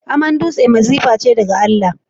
Aman dutse masifa ce daga Allah.